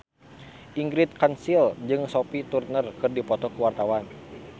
Ingrid Kansil jeung Sophie Turner keur dipoto ku wartawan